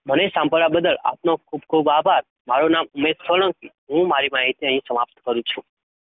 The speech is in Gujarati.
મને સાંભળવા બદલ આપનો ખુબ ખુબ આભાર મારું નામ મેથાણ હું મારી, સમાપ્ત કરી છું